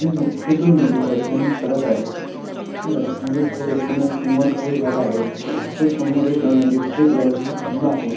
हे दोन मूल रस्त्यान चालत आहेत हि रस्त्यानं चालत असताना समोर काही झाड आहेत व समोर एक इलेक्ट्रिक लाइन चा खंबा आहे.